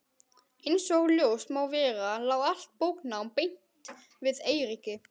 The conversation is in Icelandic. Einsog ljóst má vera lá allt bóknám beint við Eiríki.